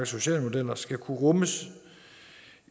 sociale modeller skal kunne rummes